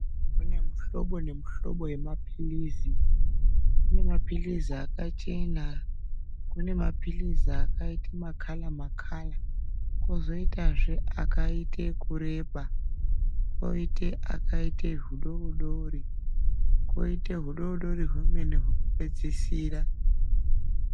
Kune mihlobo nemihlobo yemaphirizi. Kune maphirizi akachena. Kune maphirizi akaite makhara makhara. Kwozoitezve akaite okureba. Kwoite akaite hudodori. Kwoite hudodori hwemene hwekupedzisira